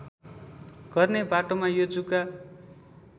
गर्ने बाटोमा यो जुका